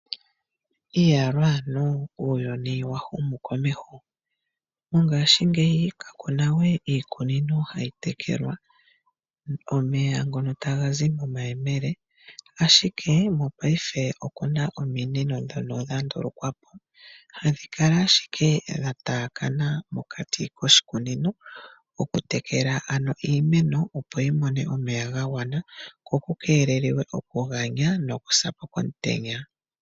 Iyaloo ano, uuyuni wa humu komeho. Mongashingeyi ka ku na we iikunino hayi tekelwa omeya ngono taga zi momayemele, ashike mopaife oku na ominino ndhono dha ndulukwa po. Hadhi kala ashike dha taakana mokati koshikunino okutekela ano iimeno, opo yi mone omeya ga gwana ko ku keelelwe okuganya nokusa po komutenya.